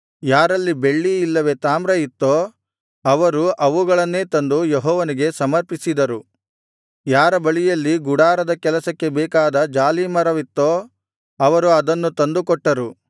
ಯಾರಲ್ಲಿ ಬೆಳ್ಳಿ ಇಲ್ಲವೇ ತಾಮ್ರ ಇತ್ತೋ ಅವರು ಅವುಗಳನ್ನೇ ತಂದು ಯೆಹೋವನಿಗೆ ಸಮರ್ಪಿಸಿದರು ಯಾರ ಬಳಿಯಲ್ಲಿ ಗುಡಾರದ ಕೆಲಸಕ್ಕೆ ಬೇಕಾದ ಜಾಲೀಮರವಿತ್ತೋ ಅವರು ಅದನ್ನು ತಂದುಕೊಟ್ಟರು